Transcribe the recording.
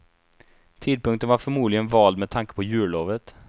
Tidpunkten var förmodligen vald med tanke på jullovet.